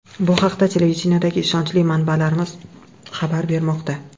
Bu haqda televideniyedagi ishonchli manbalarimiz xabar bermoqda.